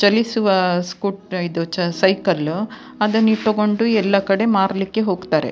ಚಲಿಸುವ ಸ್ಕೂಟ ಇದು ಸೈಕಲ್ ಅದನ್ನ ಇವ್ರು ತಗೊಂಡು ಎಲ್ಲ ಕಡೆ ಮಾರ್ಲಿಕ್ಕೆ ಹೋಗ್ತಾರೆ --